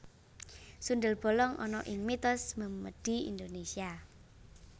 Sundel bolong ana ing mitos memedi Indonesia